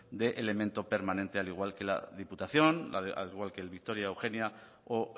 de elemento permanente al igual que la diputación al igual que el victoria eugenia o